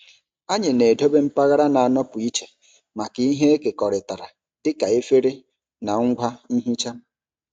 Anyị na-edobe mpaghara na-anọpụ iche maka ihe ekekọrịtara dịka efere na ngwa nhicha.